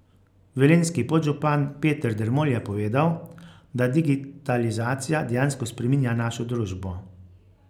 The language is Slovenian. Velenjski podžupan Peter Dermol je povedal, da digitalizacija dejansko spreminja našo družbo.